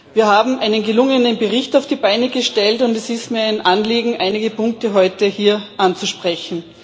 Wir haben einen gelungenen Bericht auf die Beine gestellt, und es ist mir ein Anliegen, einige Punkte heute hier anzusprechen.